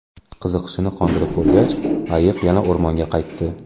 Qiziqishini qondirib bo‘lgach, ayiq yana o‘rmonga qaytdi.